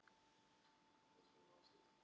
Og fagnaðarerindið varla heldur.